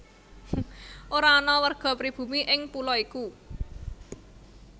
Ora ana warga pribumi ing pulo iku